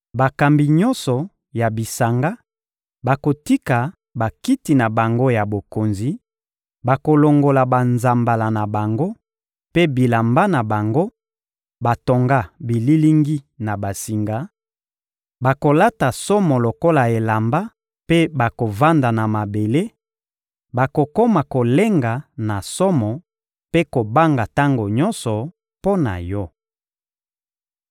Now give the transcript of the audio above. Bakambi nyonso ya bisanga bakotika bakiti na bango ya bokonzi, bakolongola banzambala na bango mpe bilamba na bango batonga bililingi na basinga, bakolata somo lokola elamba mpe bakovanda na mabele; bakokoma kolenga na somo mpe kobanga tango nyonso, mpo na yo.